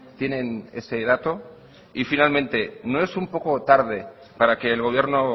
tienen ese dato y finalmente no es un poco tarde para que el gobierno